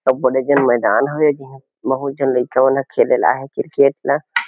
अऊ बड़े जान मैदान हे बहुत झन लइका मन खेले आए हे क्रिकेट ल।